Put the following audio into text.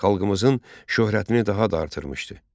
Xalqımızın şöhrətini daha da artırmışdı.